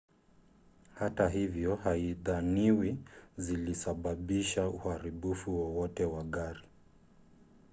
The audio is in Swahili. hata hivyo haidhaniwi zilisababisha uharibifu wowote wa gari